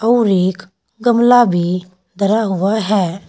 और एक गमला भी धरा हुआ है।